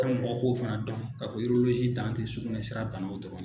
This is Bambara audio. kɔ k'o fana dɔn ka tɛ an te sugunɛ sira ta n'o dɔrɔn ye